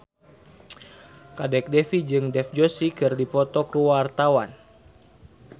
Kadek Devi jeung Dev Joshi keur dipoto ku wartawan